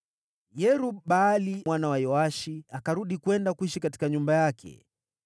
Yerub-Baali mwana wa Yoashi akarudi kwenda kuishi katika nyumba yake.